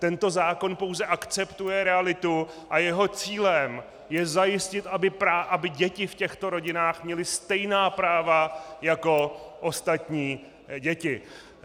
Tento zákon pouze akceptuje realitu a jeho cílem je zajistit, aby děti v těchto rodinách měly stejná práva jako ostatní děti.